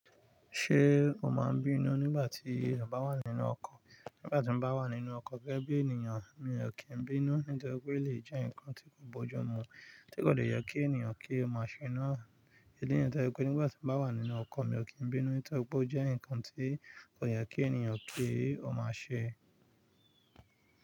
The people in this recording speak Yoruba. Ṣé o máa ń bínú nígbà tí ọba wà nínú ọkọ̀? Nígbà tí mo bá wà nínú ọkọ̀ gẹ́gẹ́ bí ènìyàn mi ò kí ń bínú, nítorí pé ó lè jẹ́ ǹkan tí kò bójú mu, tí kò dẹ̀ yẹ kí ènìyàn kí ó máa ṣe náà. Nígbà tí mo bá wà nínú ọkọ̀ mi ò kí ń bínú, nítorí pé ó jẹ́ ǹkan tí kò yẹ kí ènìyàn kí ó máa ṣe.